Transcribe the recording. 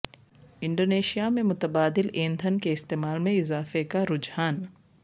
Indonesia میں متبادل ایندھن کے استعمال میں اضافے کا رجحان